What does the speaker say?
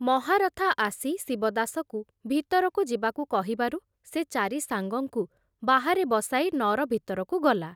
ମହାରଥା ଆସି ଶିବଦାସକୁ ଭିତରକୁ ଯିବାକୁ କହିବାରୁ ସେ ଚାରି ସାଙ୍ଗଙ୍କୁ ବାହାରେ ବସାଇ ନଅର ଭିତରକୁ ଗଲା।